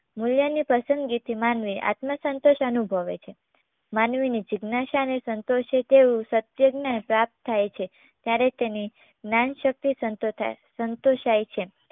મૂલ્યની પસંદગીથી માનવી આત્મસંતોષ અનુભવે છે માનવીની જીજ્ઞાશા અને સંતોષ એક એવું સત્ય જ્ઞાન પ્રાપ્ત થાય છે ત્યારે તેની જ્ઞાનશક્તિ સંતોતાય સંતોષાય છે